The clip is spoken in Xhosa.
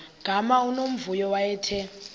gama unomvuyo wayethe